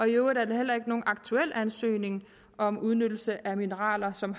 øvrigt er der heller ikke aktuelt ansøgning om udnyttelse af mineraler som